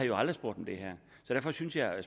jo aldrig spurgt om det her så derfor synes jeg at